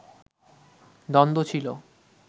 দ্বন্দ্ব ছিলো